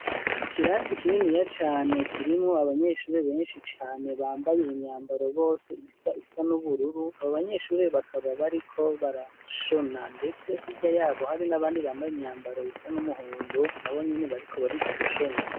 Ikirasi kininiya cane, kirimwo abanyeshure benshi cane, bambaye imyambaro, bose isa, isa n’ubururu, abo banyeshure, bakaba bariko barashona; ndetse hirya y'abo, hari n’abandi, bambaye imyambaro isa n'umuhondo, nabo nyene, bariko bariga, gushona.